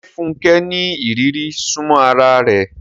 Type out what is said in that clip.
Ṣé Funke ní ìrírí súnmọ́ ara rẹ̀?